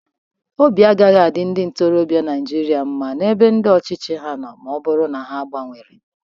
Obi agaghi adị ndị ntorọbịa Naijiria mma n'ebe ndị ọchịchị ha nọ ma ọ bụghị na ha gbabnwere.